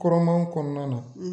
Kɔrɔman kɔnɔna na